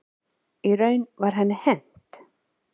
Í raun var henni hent.